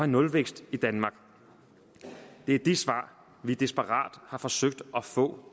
nulvækst i danmark det er de svar vi desperat har forsøgt at få